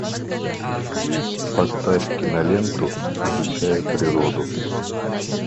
поставь киноленту изучая природу